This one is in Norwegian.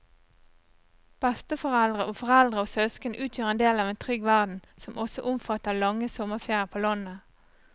Besteforeldre og foreldre og søsken utgjør en del av en trygg verden som også omfatter lange sommerferier på landet.